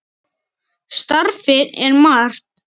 Starfið er margt.